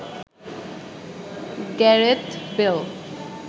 Gareth Bale